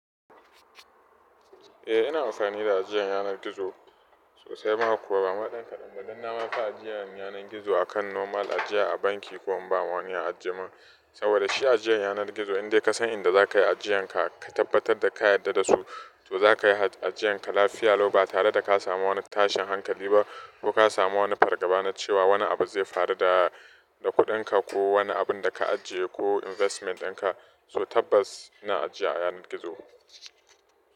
Eh, ina amfani da ajiyar yanar gizo, sosai mana. Kuma gama ɗan kaɗan, duk na mafi ajiyar yanar gizo akan normal ajiya a banki ko in bama wani ya ajiye min. Saboda shi ajiyar yanar gizo, in dai ka san inda za ka yi ajiyarka, ka tabbatar da ka yarda da su, to za ka yi ajiyarka lafiya. Lau ba tare da ka samu wani tashin hankali ba ko ka samu wani fargaba na cewa wani abu zai faru da, da kuɗinka ko wani abun da ka ajiye ko investment ɗinka. So tabbas ina ajiya a yanar gizo.